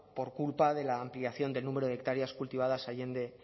por culpa de la ampliación del número de hectáreas cultivadas allende